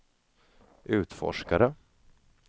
utforskare